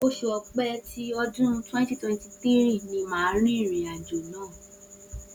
Oṣù Ọ̀pẹ tí ọdún 2023 ni màá rìnrìn àjò náà.